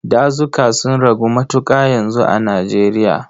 Dazuka sun ragu matuƙa yanzu a Nijeriya.